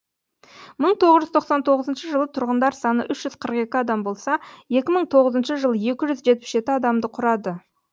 мың тоғыз жүз тоқсан тоғызыншы жылы тұрғындар саны үш жүзқырық екі адам болса екі мың тоғызыншы жылы екі жүз жетпіс жеті адамды құрады